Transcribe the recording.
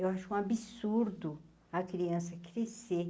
Eu acho um absurdo a criança crescer.